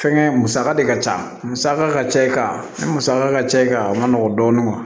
Fɛnkɛ musaka de ka ca musaka ka ca i ka musaka ka ca i kan a man nɔgɔn dɔɔnin